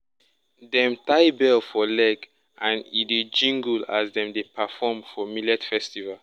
dem tie bell for leg and e dey jingle as dem dey perform for millet festival.